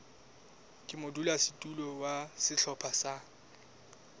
ka modulasetulo wa sehlopha sa